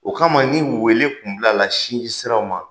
O kama ni wele kun bilala sinjisiraw ma.